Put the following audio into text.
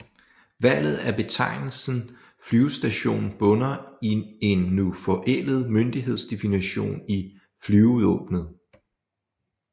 Valget af betegnelsen flyvestation bunder i en nu forældet myndighedsdefinition i Flyvevåbnet